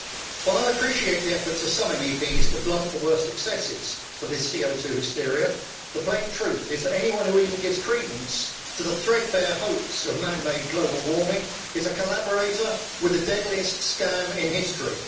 While I appreciate the efforts of some MEPs to blunt the worst excesses of this CO 2 hysteria, the plain truth is that anyone who even gives credence to the threadbare hoax of man made global warming is a collaborator with the deadliest scam in history.